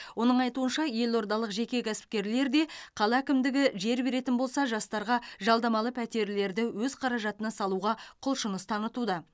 оның айтуынша елордалық жеке кәсіпкерлер де қала әкімдігі жер беретін болса жастарға жалдамалы пәтерлерді өз қаражатына салуға құлшыныс танытуда